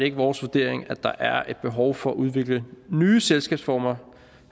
ikke vores vurdering at der er et behov for at udvikle nye selskabsformer